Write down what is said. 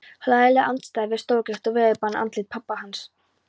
Hlægileg andstæða við stórgert og veðurbarið andlit pabba hans.